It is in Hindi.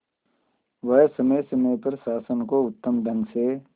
वह समय समय पर शासन को उत्तम ढंग से